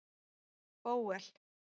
Bóel